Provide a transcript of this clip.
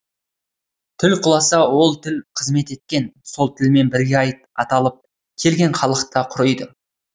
тіл құласа ол тіл қызмет еткен сол тілмен бірге аталып келген халық та құриды